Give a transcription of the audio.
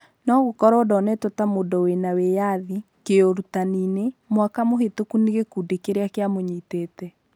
No gũkorwo ndonetwo ta mundu wĩna wĩathi, kĩurũtaninĩ ,mwaka mũhĩtũkũ nĩ gikundi kĩria kĩramũnyitĩte